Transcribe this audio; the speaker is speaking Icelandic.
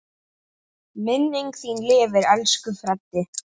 Minning þín lifir, elsku Freddi.